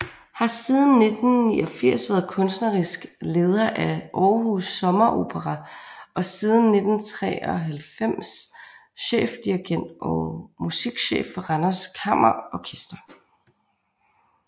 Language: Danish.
Har siden 1989 været kunstnerisk leder af Aarhus Sommeropera og siden 1993 chefdirigent og musikchef for Randers Kammerorkester